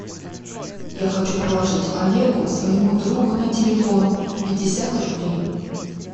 я хочу положить олегу своему другу на телефон пятьдесят рублей